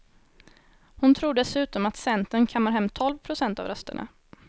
Hon tror dessutom att centern kammar hem tolv procent av rösterna.